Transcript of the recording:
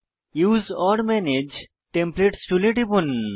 use or manage templates টুলে টিপুন